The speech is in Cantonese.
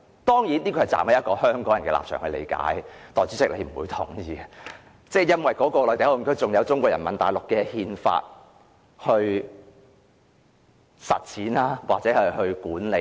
當然，這是站於香港人的立場來理解，代理主席是不會認同的，因為內地口岸區還有中國內地法律來管理。